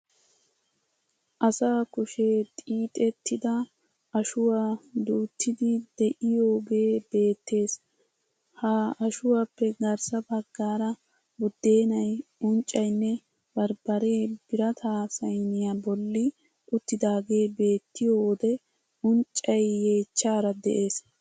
Asaa kushee xiixettida ashuwa duuttiiddi de'iyogee beettees. Ha ashuwappe garssa baggaara buddeenay, unccaynne barbbaree birata saaniya bolli uttidaagee beettiyo wode unccay yeechchaara de'ees.